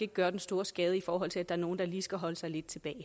gøre den store skade i forhold til at der er nogle der lige skal holde sig lidt tilbage